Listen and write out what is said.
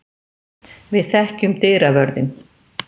Við þekkjum dyravörðinn.